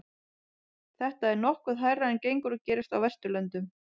Þetta er nokkuð hærra en gengur og gerist á Vesturlöndum.